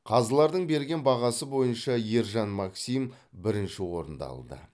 қазылардың берген бағасы бойынша ержан максим бірінші орынды алды